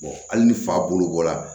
hali ni fa bolokora